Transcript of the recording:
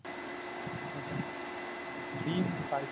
ওটাই দিন পালটেছে